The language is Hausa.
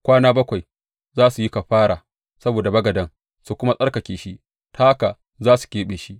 Kwana bakwai za su yi kafara saboda bagaden su kuma tsarkake shi; ta haka za su keɓe shi.